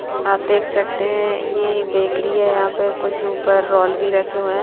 आप देख सकते है ये एक ब्रेकरी है यहां पर कुछ ऊपर रोल भी रखे हुए है।